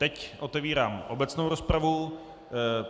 Teď otevírám obecnou rozpravu.